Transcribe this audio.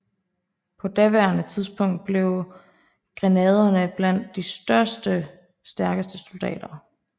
På daværende tidspunkt blev grenaderne valgt blandt de største og stærkeste soldater